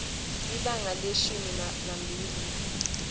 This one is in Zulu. ibanga leshumi nambili